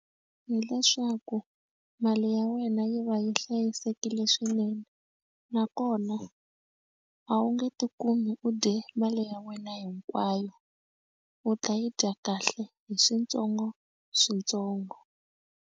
Hileswaku mali ya wena yi va yi hlayisekile swinene nakona a wu nge tikumi u dye mali ya wena hinkwayo u ta yi dya kahle hi switsongoswitsongo.